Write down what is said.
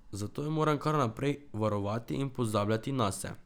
Zakaj jo moram kar naprej varovati in pozabljati nase?